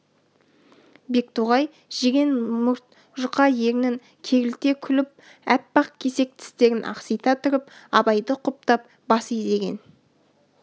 бектоғай жирен мұрт жұқа ернін керілте күліп аппақ кесек тістерін ақсита тұрып абайды құптап бас изеген